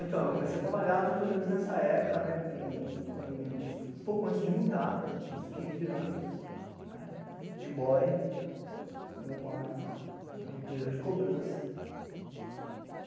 Eu comecei a trabalhar mais ou menos nessa época, um pouco antes de mudar, com uns quinze anos, de boy, numa empresa de cobrança.